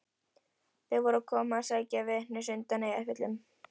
Þeir voru að koma að sækja Venus undan Eyjafjöllum.